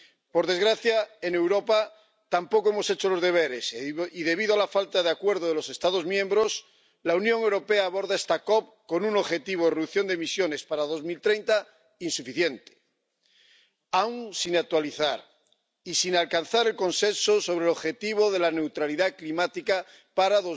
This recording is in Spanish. Por desgracia, en Europa tampoco hemos hecho los deberes y, debido a la falta de acuerdo de los Estados miembros, la Unión Europea aborda esta COP con un objetivo de reducción de emisiones para 2030 insuficiente, aún sin actualizar y sin alcanzar el consenso sobre el objetivo de la neutralidad climática para